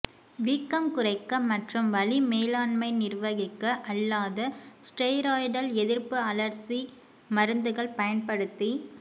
வீக்கம் குறைக்க மற்றும் வலி மேலாண்மை நிர்வகிக்க அல்லாத ஸ்டெராய்டல் எதிர்ப்பு அழற்சி மருந்துகள் பயன்படுத்தி